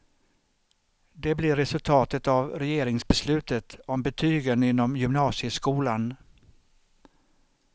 Det blir resultatet av regeringsbeslutet om betygen inom gymnasieskolan.